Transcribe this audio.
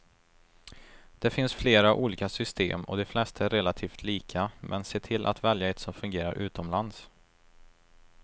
Det finns flera olika system och de flesta är relativt lika, men se till att välja ett som fungerar utomlands.